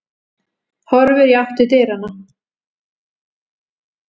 Horfir í átt til dyranna.